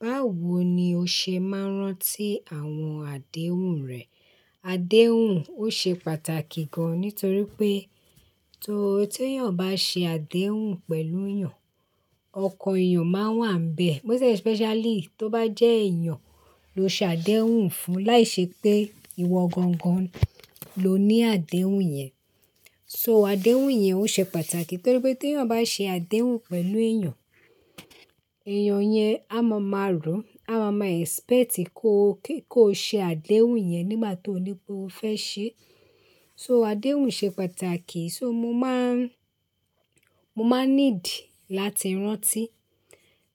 Báwo ni o ṣe máa ń rántí àwọn àdéhùn rẹ? Àdéhùn ó ṣe pàtàkì gan-an nítorí pé tó tí yàn bá ṣe àdéhùn pẹ̀lú èèyàn, ọkàn èèyàn máa wà níbẹ̀. Most especially tó bá jẹ́ èèyàn ló ṣe àdéhùn fún, láìṣe pé ìwọ gangan ló ní àdéhùn yẹn. So àdéhùn yẹn ó ṣe pàtàkì nítorí pé tí yàn bá ṣe àdéhùn pẹ̀lú èèyàn, èèyàn yẹn á máa máa rò, á máa máa expect kó, kó ṣe àdéhùn yẹn nígbà tó ní pé ó fẹ́ ṣe. So àdéhùn ṣe pàtàkì so mo máa n, mo máa need láti rántí.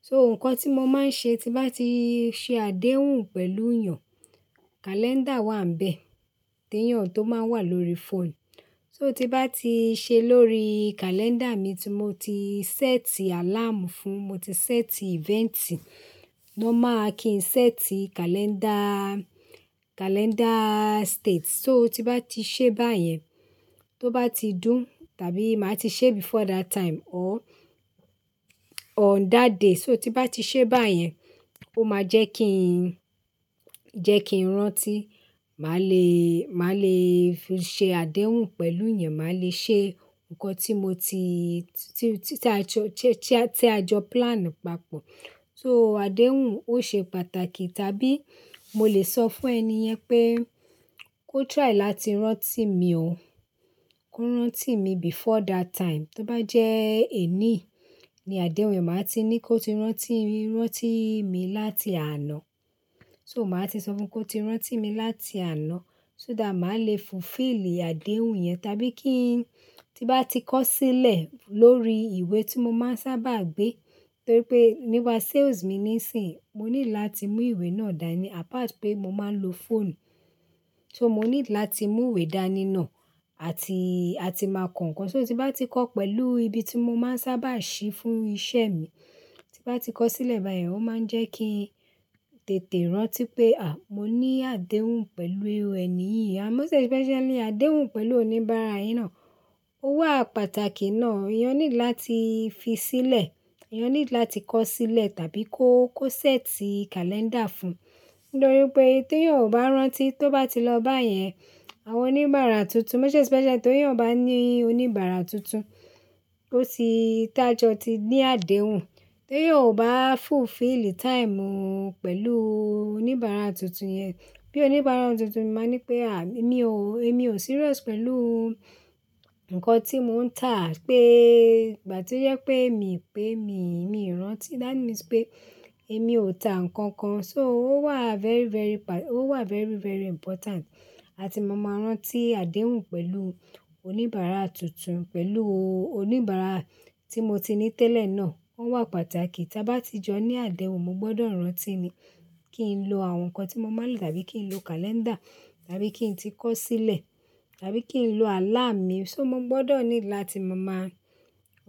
So nǹkan tí mo máa ń ṣe tí bá ti ṣe àdéhùn pẹ̀lú èèyàn, kàlẹ́ńdà wà níbẹ̀, tí yàn tó máa wà lórí fóònù. So tí bá ti ṣe lórí calendar mi tí mo ti set alarm fún, mo ti set event, ló máa kí n set calendar, calendar state. So tí bá ti ṣe báyẹn, tó bá ti dùn tàbí màá ti ṣe before that time or, or that day. So tí bá ti ṣe báyẹn, ó máa jẹ́ kí n, jẹ́ kí n rántí, màá le, màá le ṣe àdéhùn pẹ̀lú èèyàn, màá le ṣe nǹkan tí mo ti, tí, tí a jọ, tí a jọ plan papọ̀. So àdéhùn ó ṣe pàtàkì tàbí mo lè sọ fún ẹni yẹn pé kó try láti rántí mi ó, kó rántí mi before that time. Tó bá jẹ́ èní ni àdéhùn yẹn, màá ti ní kó ti rántí, rántí mi láti àná. So màá ti sọ fún kó ti rántí mi láti àná so dá màá le fulfill àdéhùn yẹn tàbí kí n tí bá ti kọ̀ sílẹ̀ lórí ìwé tí mo máa ń sábà gbé. Nítorí pé níwà sales mi nísìń, mo nílò láti mú ìwé náà dání apart pé mo máa ń lo phone. So mo need láti mú ìwé dání náà àti, àti máa kọ́ nǹkan. So tí bá ti kọ́ pẹ̀lú ibi tí mo máa ń sábà ṣí fún iṣẹ́ mi, tí bá ti kọ́ sílẹ̀ báyẹn, ó máa ń jẹ́ kí n tètè rántí pé à, mo ní àdéhùn pẹ̀lú ẹni yìí. Ah most especially àdéhùn pẹ̀lú oníbàárà iná. Ó wà pàtàkì ná. Èèyàn need láti fi sílẹ̀, èèyàn need láti kọ̀ sílẹ̀ tàbí kó, kó set calendar fún. Nítorí pé tí èèyàn ò bá rántí tó bá ti lọ bá yẹn, àwọn oníbàárà tuntun most especially tí èèyàn bá ní oníbàárà tuntun tó ti tájọ́ ti ní àdéhùn, tí èèyàn ò bá fulfill time pẹ̀lú oníbàárà tuntun yẹn, bí i oníbàárà tuntun màá ní pé à mí o, èmi ò serious pẹ̀lú nǹkan tí mò ń tà pé, gbà tí ó yẹ pé èmi pé mi, mi rántí. That means pé èmi ò tà nǹkan kan. So ó wà very, very pa-- ó wà very, very important àti mo máa rántí àdéhùn pẹ̀lú oníbàárà tuntun, pẹ̀lú oníbàárà tí mo ti ní tẹ́lẹ̀ náà. Ó wà pàtàkì tí bá ti jọ ní àdéhùn, mo gbọdọ̀ rántí ni kí n lo àwọn nǹkan tí mo mọ̀ mọ̀ ní tàbí kí n lo calendar tàbí kí n tí kọ̀ sílẹ̀ tàbí kí n lo alarm mi. So mo gbọdọ̀ need láti mo máa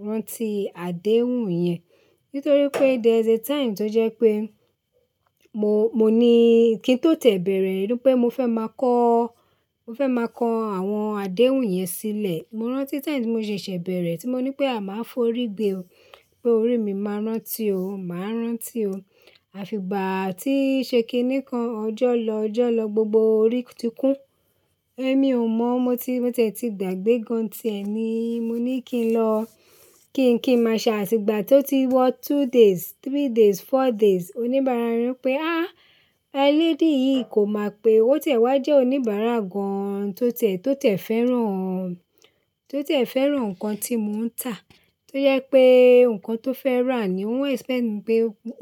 rántí àdéhùn yẹn. Nítorí pé there is a time tó jẹ́ pé mo, mo ní kí n tó tẹ̀ bẹ̀rẹ̀, rí pé mo fẹ́ máa kọ́, mo fẹ́ máa kan àwọn àdéhùn yẹn sílẹ̀. Mo rántí time tí mo ṣe ṣẹ̀ bẹ̀rẹ̀ tí mo ní pé à máa f'orí gbé o, pé orí mi máa rántí o, màá rántí o. Àti ìgbà tí ṣe kín ní kan ọjọ́ lọ, ọjọ́ lọ gbogbo orí ti kún. Ẹ̀mí ò mọ̀, mo ti, mo tẹ̀ ti gbàgbé gan-an ti ẹ̀ níì, mo ní kí n lọ, kí n kí n máa ṣẹ àti ìgbà tó ti wọ two days, three days, four days. Oníbàárà rin pé à, ẹ lady yìí kò mọ̀ pé ó tẹ̀ wá jẹ́ oníbàárà gan-an tó tẹ̀, tó tẹ̀ fẹ́ràn, tó tẹ̀ fẹ́ràn nǹkan tí mò ń tà, tó yẹ pé nǹkan tó fẹ́ rà ni ó ń expect pé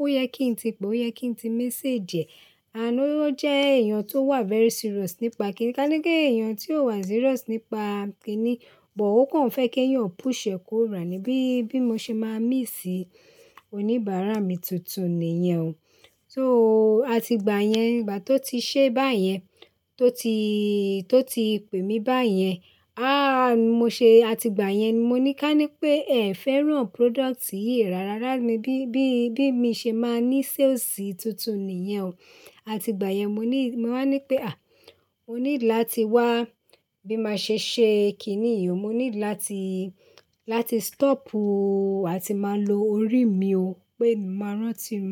ó yẹ kí n ti pè ó, ó yẹ kí n ti message. Àánú ó jẹ́ èèyàn tó wà very serious nípa kíni. Ká ní pé èèyàn tí ó wà serious nípa kíni, bọ̀ ó kàn fẹ́ kí yàn push ẹ kó rà ni bí, bí mo ṣe máa miss oníbàárà mi tuntun nìyẹn o. So àti ìgbà yẹn, ìgbà tó ti ṣe báyẹn, tó ti, tó ti pè mi báyẹn, à mo ṣe, àti ìgbà yẹn ni mo ní ká ní pé ẹ̀ fẹ́ràn product yìí rárá rá mi bí, bí, bí mí ṣe máa ní sales tuntun nìyẹn o. Àti ìgbà yẹn mo ní, mo máa ń ní pé à, mo need láti wá bí màá ṣe ṣe kíni yìí o. Mo need láti, láti stop àti máa lo orí mi o pé màá rántí o.